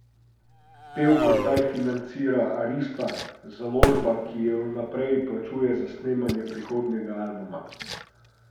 Pevko zdaj financira Arista, založba, ki ji v naprej plačuje za snemanje prihodnjega albuma.